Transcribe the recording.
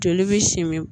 Joli bɛ simin